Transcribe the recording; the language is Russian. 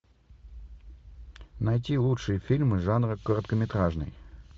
найти лучшие фильмы жанра короткометражный